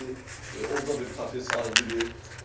Orada bir kafe sahibidir.